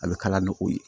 A bɛ kala ne k'o ye